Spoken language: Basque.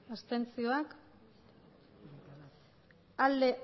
hamairu bai